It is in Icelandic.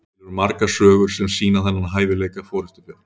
til eru margar sögur sem sýna þennan hæfileika forystufjár